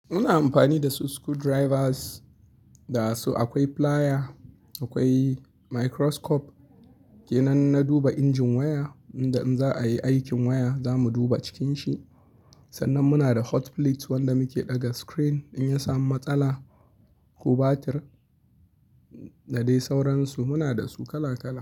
Muna amfani da su screwdrivers, da su akwai plier, akwai microscope. Ke nan na duba injin waya, inda in za a yi aikin waya za mu duba cikin shi. Sannan muna da hot plates wanda muke ɗaga screen in ya samu matsala, ko batir, da dai sauransu muna da su kala kala.